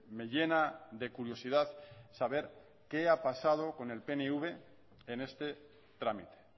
me llena de curiosidad saber qué ha pasado con el pnv en este trámite